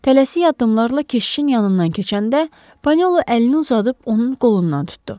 Tələsik addımlarla keşişin yanından keçəndə Panelo əlini uzadıb onun qolundan tutdu.